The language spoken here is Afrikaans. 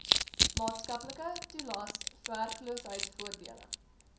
maatskaplike toelaes werkloosheidvoordele